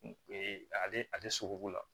ale sogobu la